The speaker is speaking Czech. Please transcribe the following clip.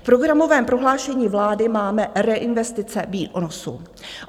V programovém prohlášení vlády máme reinvestice výnosů.